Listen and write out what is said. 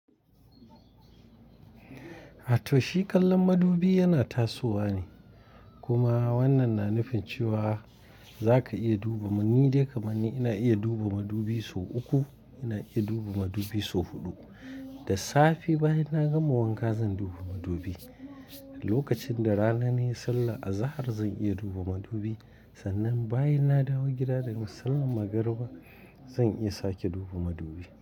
Atoshi kallon madubi yana tasowa ne. Kuma wannan na nufin cewa za ka iya duba. Ni dai kamani ina iya duba madubi sau uku, ina iya duba madubi sau huɗu. Da safe bayan na gama wanka zan duba madubi. Lokacin da rana nai Sallar azahar zan iya duba madubi. Sannan bayan na dawo gida daga sallan magariba zan iya sake duba madubi.